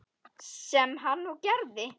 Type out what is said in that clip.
Sem hann og gerði.